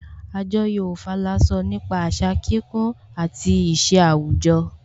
Àjọyọ̀ Ofala sọ nípa àṣà kíkún àti ìṣe àwùjọ